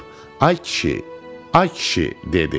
Ay kişi, ay kişi, dedi.